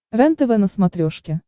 рентв на смотрешке